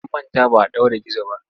An manta ba a ɗaure gizo ba.